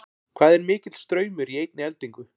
Hvað er mikill straumur í einni eldingu?